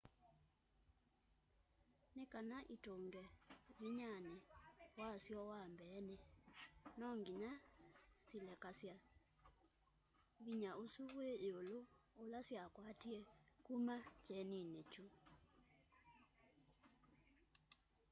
nikana itunge vinyani wasyo wa mbeeni no nginya silekasya vinya usu wi yiulu ula syakwatie kuma kyenini kyu